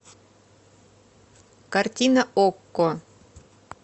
картина окко